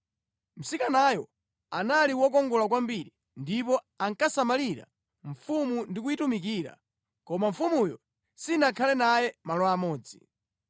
Mtsikanayo anali wokongola kwambiri ndipo ankasamalira mfumu ndi kumayitumikira, koma mfumuyo sinakhale naye malo amodzi.